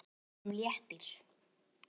Honum léttir.